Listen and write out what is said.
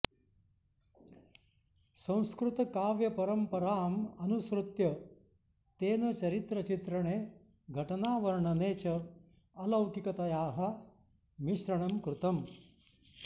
संस्कृतकाव्यपरम्पराम् अनुसृत्य तेन चरित्रचित्रणे घटनावर्णने च अलौकिकतायाः मिश्रणं कृतम्